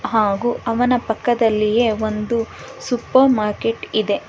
ಹಾಗು ಅವನ ಪಕ್ಕದಲ್ಲಿಯೇ ಒಂದು ಸೂಪರ್ ಮಾರ್ಕೆಟ್ ಇದೆ.